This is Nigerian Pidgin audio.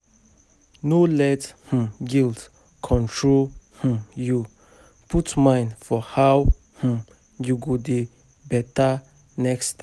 No let um guilt control um yu; put mind for how um yu go do beta next time.